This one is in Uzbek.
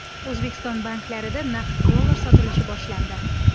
O‘zbekiston banklarida naqd dollar sotilishi boshlandi .